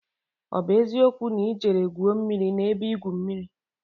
O bu eziokwu na I jere gwuo mmiri n'ebe igwu mmiri?